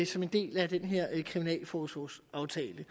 som en del af den her kriminalforsorgsaftale